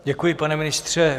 Děkuji, pane ministře.